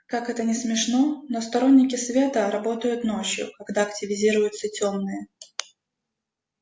как это не смешно но сторонники света работают ночью когда активизируются тёмные